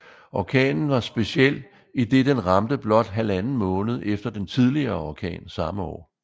Orkanen var speciel i den den ramte blot halvanden måned efter den tidligere orkan samme år